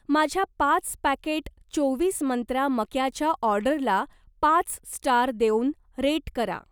माझ्या पाच पॅकेट चोवीस मंत्रा मक्याच्या ऑर्डरला पाच स्टार देऊन रेट करा.